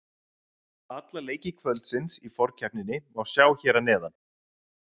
Alla leiki kvöldsins í forkeppninni má sjá hér að neðan